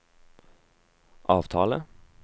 avtale